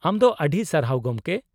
-ᱟᱢ ᱫᱚ ᱟᱹᱰᱤ ᱥᱟᱨᱦᱟᱣ, ᱜᱚᱢᱠᱮ ᱾